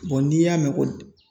n'i y'a mɛn ko